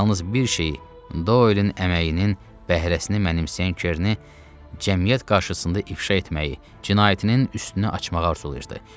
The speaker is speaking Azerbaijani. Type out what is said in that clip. Yalnız bir şeyi, Doylen əməyinin bəhrəsini mənimsəyən Kerni cəmiyyət qarşısında ifşa etməyi, cinayətinin üstünü açmağı arzulayırdı.